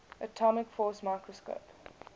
atomic force microscope